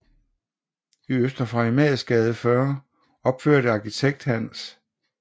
I Øster Farimagsgade 40 opførte arkitekt Hans J